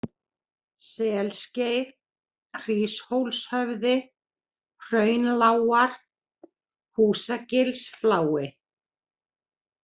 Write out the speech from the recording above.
Selskeið, Hríshólshöfði, Hraunlágar, Húsagilsflái